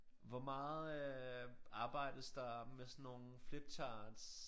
Hvor meget øh arbejdes der med sådan nogle flip charts